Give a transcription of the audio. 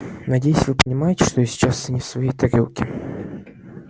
надеюсь вы понимаете что я сейчас не в своей тарелке